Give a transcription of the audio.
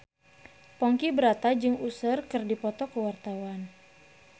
Ponky Brata jeung Usher keur dipoto ku wartawan